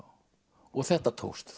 og þetta tókst